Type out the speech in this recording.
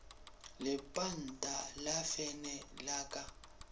lepanta la fene la ka